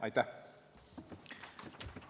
Aitäh!